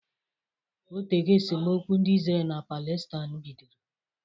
Otego esemokwu ndị Izrel na Palestain bidoro